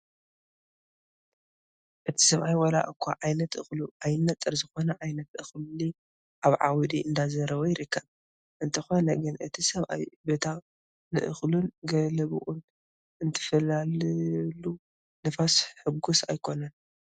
እቲ ሰብኣይ ዋላ እኳ ዓይነት እክሉ ኣይነፀር ዝኾነ ዓይነት እክሊ ኣብ ዓውዲ እንዳዝረወ ይርከብ፡፡ እንተኾነ ግና እቲ ሰብኣይ በታ ንእኽሉን ገለቡኡን እትፈላልየሉ ንፋስ ሕጉስ ኣይኮነን፡፡